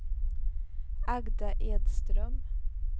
Agda Edström